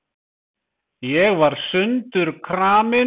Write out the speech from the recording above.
Ég var sundurkramin.